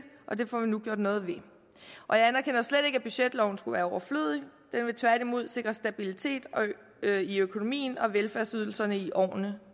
og det får vi nu gjort noget ved og jeg anerkender slet ikke at budgetloven skulle være overflødig den vil tværtimod sikre stabilitet i økonomien og velfærdsydelserne i årene